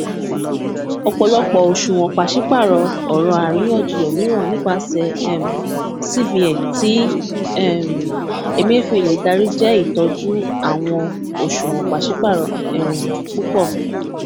ọpọlọpọ oṣuwọn paṣipaarọ ọrọ ariyanjiyan miiran nipasẹ um cbn ti um emefiele dari jẹ itọju awọn oṣuwọn paṣipaarọ um pupọ